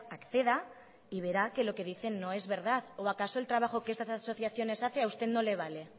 acceda y verá que lo que dicen no es verdad o acaso el trabajo que estas asociaciones hacen a usted no le vale